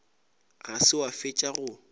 ga se wa fetša go